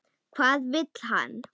Hvað vill hann?